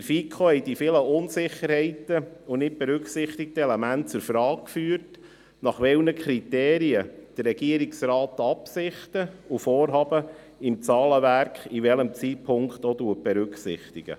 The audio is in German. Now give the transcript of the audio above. In der FiKo haben die vielen Unsicherheiten und nicht berücksichtigten Elemente zur Frage geführt, nach welchen Kriterien der Regierungsrat Absichten und Vorhaben im Zahlenwerk zu einem gegebenen Zeitpunkt berücksichtig.